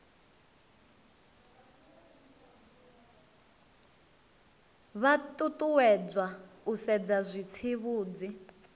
vha ṱuṱuwedzwa u sedza zwitsivhudzi